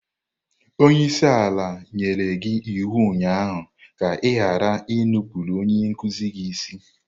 Onye isi ala nyere gị iwu ụnyaahụ ka ị ghara inupụrụ onye nkuzi gị isi!